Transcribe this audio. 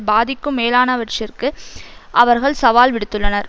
பாதிக்கும் மேலானவற்றிற்கு அவர்கள் சவால் விடுத்துள்ளனர்